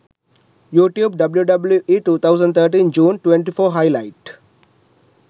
youtube wwe 2013 june 24 highlight